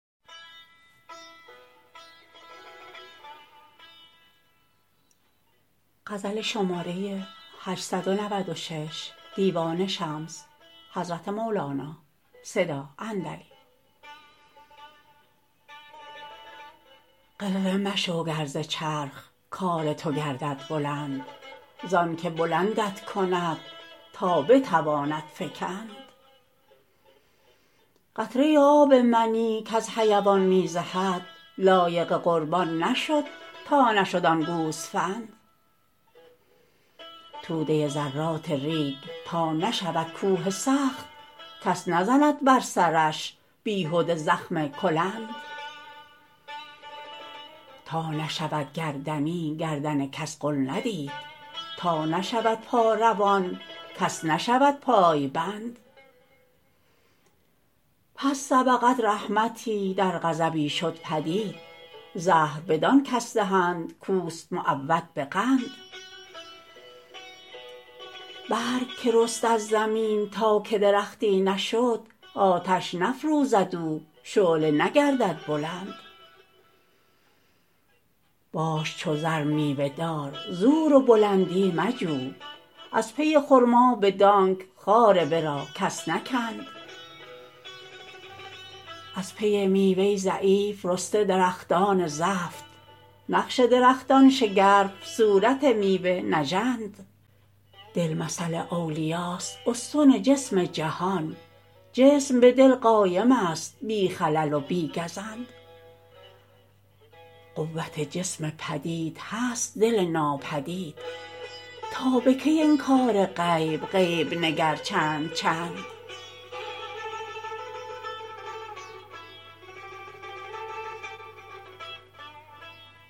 غره مشو گر ز چرخ کار تو گردد بلند زانک بلندت کند تا بتواند فکند قطره آب منی کز حیوان می زهد لایق قربان نشد تا نشد آن گوسفند توده ذرات ریگ تا نشود کوه سخت کس نزند بر سرش بیهده زخم کلند تا نشود گردنی گردن کس غل ندید تا نشود پا روان کس نشود پای بند پس سبقت رحمتی در غضبی شد پدید زهر بدان کس دهند کوست معود به قند برگ که رست از زمین تا که درختی نشد آتش نفروزد او شعله نگردد بلند باش چو رز میوه دار زور و بلندی مجو از پی خرما بدانک خار ورا کس نکند از پی میوه ضعیف رسته درختان زفت نقش درختان شگرف صورت میوه نژند دل مثل اولیاست استن جسم جهان جسم به دل قایم است بی خلل و بی گزند قوت جسم پدید هست دل ناپدید تا به کی انکار غیب غیب نگر چند چند